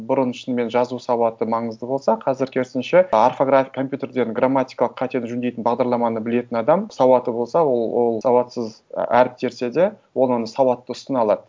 бұрын шынымен жазу сауаты маңызды болса қазір керісінше орфография компьютерден грамматикалық қатені жөндейтін бағдарламаны білетін адам сауаты болса ол сауатсыз әріп терсе де оның сауаттысын алады